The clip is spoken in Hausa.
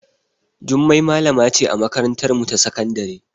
Jummai malama ce a makarantarmu ta sakandare.